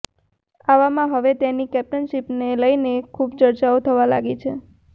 આવામાં હવે તેની કેપ્ટનશીપને લઇને ખૂબ ચર્ચાઓ થવા લાગી છે